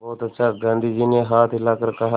बहुत अच्छा गाँधी जी ने हाथ हिलाकर कहा